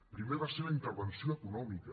primer va ser la intervenció econòmica